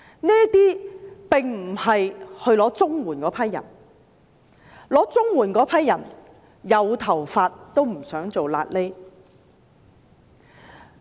這些並非申領綜援的人，申領綜援的人是"有頭髮也不想做瘌痢"的。